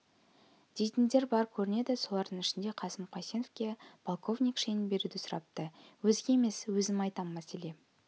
дейтіндер бар көрінеді солардың ішінде қасым қайсеновке полковник шенін беруді сұрапты өзге емес өзім айтам мәселе